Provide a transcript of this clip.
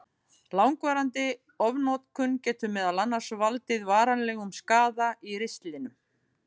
Langvarandi ofnotkun getur meðal annars valdið varanlegum skaða í ristlinum.